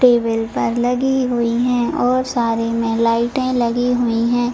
Table पर लगी हुईं हैं और सारे में लाइटें लगी हुईं हैं।